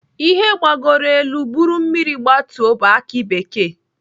Ihe gbagoro elu buru mmiri gbatuo bụ aki bekee.